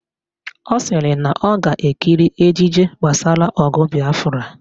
Ọ sịrị na ọ ga-ekiri ejije gbasara ọgụ Bịafra